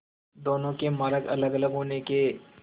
दोनों के मार्ग अलगअलग होने के